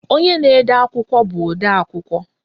Onye na-ede akwụkwọ bụ odeakwụkwọ